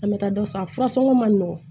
An bɛ taa dɔ san furasɔn ma nɔgɔn